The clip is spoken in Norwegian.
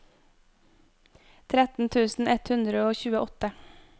tretten tusen ett hundre og tjueåtte